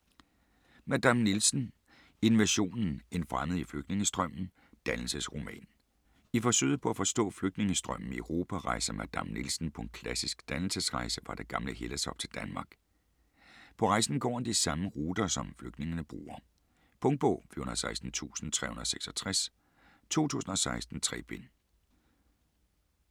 Madame Nielsen: Invasionen: en fremmed i flygtningestrømmen: dannelsesroman I forsøget på at forstå flygtningestrømmen i Europa rejser Madame Nielsen på en klassisk dannelsesrejse fra det gamle Hellas op til Danmark. På rejsen går han på de samme ruter, som flygtningene bruger. Punktbog 416366 2016. 3 bind.